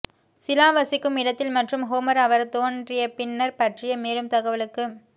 சிலா வசிக்கும் இடத்தில் மற்றும் ஹோமர் அவர் தோன்றியபின்னர் பற்றிய மேலும் தகவலுக்கு